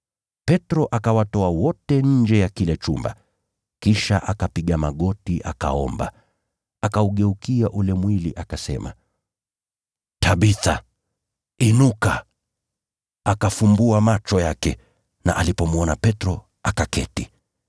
Petro akawatoa wote nje ya kile chumba, kisha akapiga magoti akaomba, akaugeukia ule mwili akasema, “Tabitha, inuka.” Akafumbua macho yake na alipomwona Petro, akaketi.